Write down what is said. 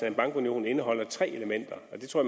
en bankunion indeholder tre elementer og det tror